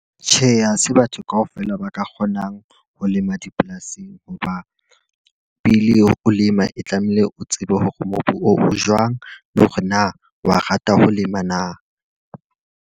Tjhe, ha se batho ka ofela ba ka kgonang ho lema dipolasing. Ho ba pele o lema, e tlamehile o tsebe hore mobu o jwang, le hore na wa rata ho lema na.